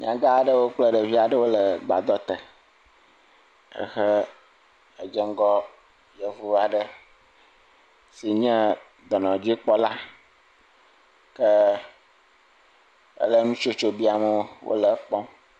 Nyaga aɖewo kple ɖevi aɖewo le gbadɔ te, ehe edze ŋgɔ yevu aɖe si nye dɔnɔdzikpɔla, ke ele nutsotso biam wo, wole ekpɔm.